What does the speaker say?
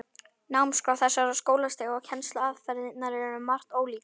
Námskrá þessara skólastiga og kennsluaðferðirnar eru um margt ólíkar.